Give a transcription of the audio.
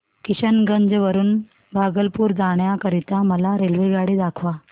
किशनगंज वरून भागलपुर जाण्या करीता मला रेल्वेगाडी दाखवा